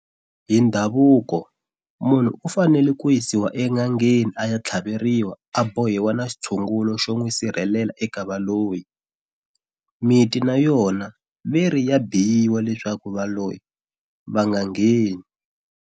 Hi ndhavuko munhu u fanele ku yisiwa en'angeni a ya tlhaveriwa a bohiwa na xitshungulo xo n'wi sirhelela eka valoyi. Miti na yona ve ri ya biyiwa leswaku valoyi va nga ngheni.